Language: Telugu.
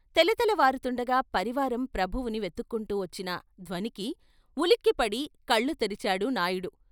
తెలతెలవారుతుండగా పరివారం ప్రభువుని వెతుక్కుంటూ వచ్చిన ధ్వనికి ఉలిక్కిపడి కళ్ళు తెరిచాడు నాయుడు.